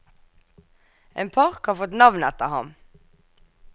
En park har fått navn etter han.